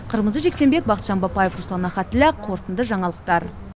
қырмызы жексенбек бахытжан бапаев руслан ахатіллә қорытынды жаңалықтар